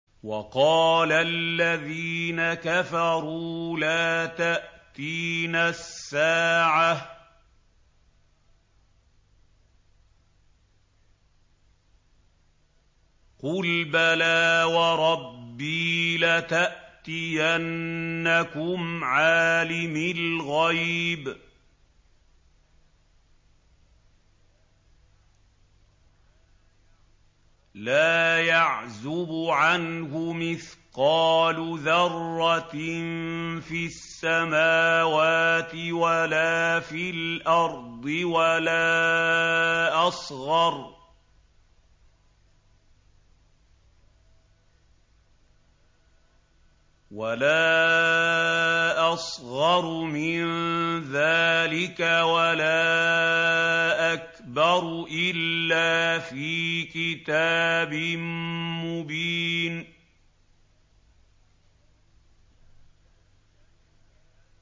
وَقَالَ الَّذِينَ كَفَرُوا لَا تَأْتِينَا السَّاعَةُ ۖ قُلْ بَلَىٰ وَرَبِّي لَتَأْتِيَنَّكُمْ عَالِمِ الْغَيْبِ ۖ لَا يَعْزُبُ عَنْهُ مِثْقَالُ ذَرَّةٍ فِي السَّمَاوَاتِ وَلَا فِي الْأَرْضِ وَلَا أَصْغَرُ مِن ذَٰلِكَ وَلَا أَكْبَرُ إِلَّا فِي كِتَابٍ مُّبِينٍ